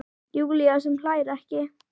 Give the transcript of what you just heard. Júlía sem hlær ekki.